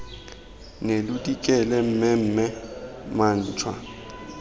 ne lo dikile mmemme mantšwa